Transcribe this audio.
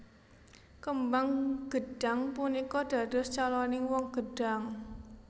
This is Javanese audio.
Kembang gedhang punika dados caloning woh gedhang